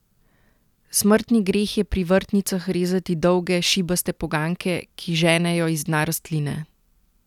Smrtni greh je pri vrtnicah rezati dolge, šibaste poganjke, ki ženejo iz dna rastline!